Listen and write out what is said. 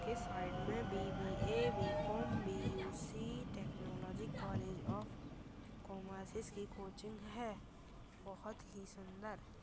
के साइड में BBA. BCom BUC. Technology college of commerce की कोचिंग हैबहुत ही सुंदर।